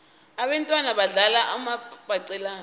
abentwana badlala umabhaqelana